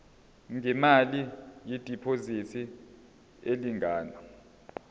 ngemali yediphozithi elingana